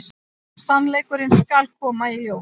Sannleikurinn skal koma í ljós.